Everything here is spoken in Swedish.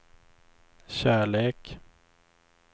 kärlek